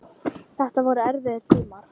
Þetta voru erfiðir tímar.